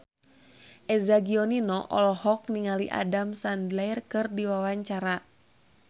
Eza Gionino olohok ningali Adam Sandler keur diwawancara